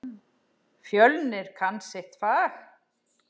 Fjölnir kann sitt fag.